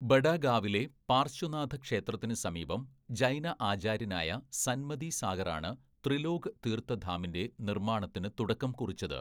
ബഡാ ഗാവിലെ പാർശ്വനാഥ ക്ഷേത്രത്തിന് സമീപം ജൈന ആചാര്യനായ സൻമതി സാഗറാണ് ത്രിലോക് തീർത്ഥ ധാമിൻ്റെ നിർമാണത്തിന് തുടക്കം കുറിച്ചത്.